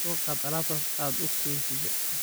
Soqad alabtas aad ukeysidh.